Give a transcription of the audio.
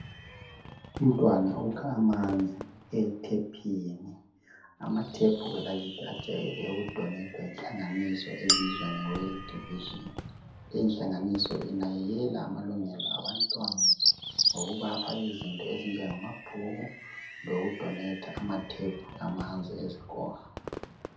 Umntwana ukha amanzi ethephini. Amathephu akithi ajwayele ukudonethwa yihlanganiso ebizwa nge world division. Inhlanganiso inakekela amalungelo abantwana ngokubapha izinto ezinjengama bhuku, lokudonetha amathephu amanzi ezikolo.